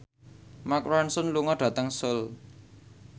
Mark Ronson lunga dhateng Seoul